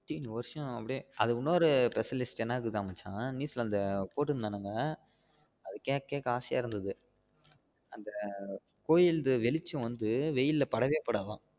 வருஷம் அப்டியே அது இன்னொரு specialist என்னதுனா இருக்குன்னா மச்சா news ல போடுருந்தாங்க அத கேக்க கேக்க அசையா இருந்தது அந்த கோவில் வெளிச்சம் வந்து வெயில்ல படவே படாதாம்